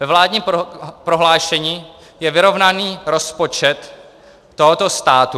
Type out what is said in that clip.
Ve vládním prohlášení je vyrovnaný rozpočet tohoto státu.